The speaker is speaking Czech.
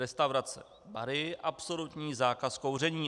Restaurace, bary - absolutní zákaz kouření.